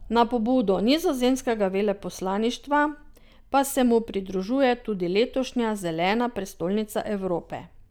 Na pobudo nizozemskega veleposlaništva pa se mu pridružuje tudi letošnja Zelena prestolnica Evrope.